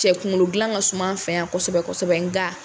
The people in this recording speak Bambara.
Cɛ kunkolo dilan ka suma an fɛ yan kosɛbɛ kosɛbɛ!